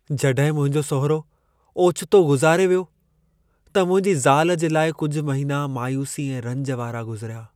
जॾहिं मुंहिंजो सहुरो ओचितो गुज़ारे वियो, त मुंहिंजी ज़ाल जे लाइ कुझु महिना मायूसी ऐं रंज वारा गुज़िरिया।